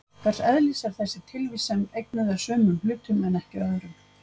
hvers eðlis er þessi tilvist sem eignuð er sumum hlutum en ekki öðrum